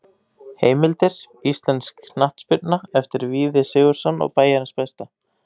Heimildir: Íslensk knattspyrna eftir Víði Sigurðsson og Bæjarins besta.